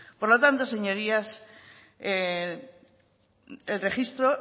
por lo tanto señorías el registro